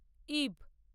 ইব।